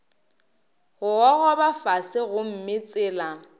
go gogoba fase gomme tsela